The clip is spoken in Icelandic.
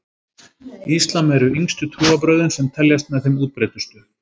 Íslam eru yngstu trúarbrögðin sem teljast með þeim útbreiddustu.